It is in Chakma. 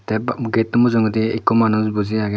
tay getto mujungendi ikko manuj buji agey.